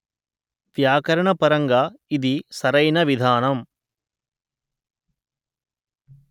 వ్యాకరణ పరంగా ఇది సరైన విధానం